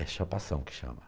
É chapação que chama.